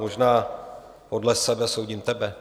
Možná podle sebe soudím tebe?